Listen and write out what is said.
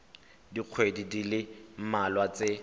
dikgweding di le mmalwa tse